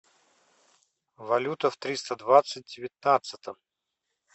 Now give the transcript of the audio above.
валюта в триста двадцать девятнадцатом